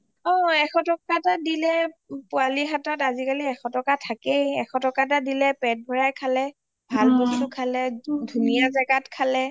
অ এশ টকা এটা দিলেই পোৱালি হাতত আজিকালি এশ টকা থাকেই এশ টকা এটা দিলে পেট ভৰাই খালেই ভাল বস্তু খালে ধুনীয়া জাগাত খালে